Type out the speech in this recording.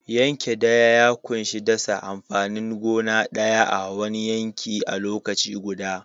Yanke daya ya ƙunshi dasa amfanin gona guda ɗaya a'wani yanki a lokaci guda.